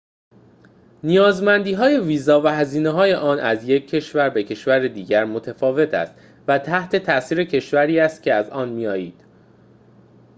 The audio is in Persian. نیازمندیهای ویزا و هزینه‌های آن از یک کشور به کشوری دیگر متفاوت است و تحت تأثیر کشوری است که از آن می‌آیید